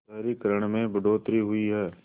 शहरीकरण में बढ़ोतरी हुई है